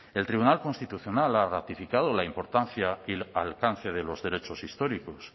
el tribunal constitucional ha ratificado la importancia y alcance de los derechos históricos